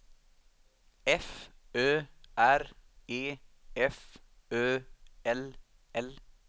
F Ö R E F Ö L L